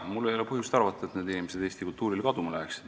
Mul ei ole põhjust arvata, et need inimesed eesti kultuurile kaduma läheksid.